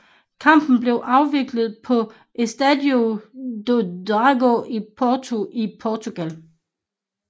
Kampen blev afviklet på Estádio do Dragão i Porto i Portugal